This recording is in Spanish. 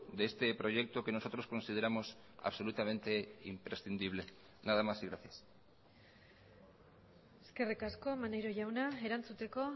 de este proyecto que nosotros consideramos absolutamente imprescindible nada más y gracias eskerrik asko maneiro jauna erantzuteko